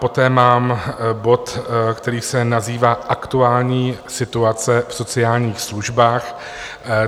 Poté mám bod, který se nazývá Aktuální situace v sociálních službách.